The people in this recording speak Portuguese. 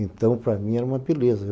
Então, para mim, era uma beleza.